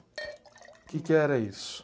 Que que era isso?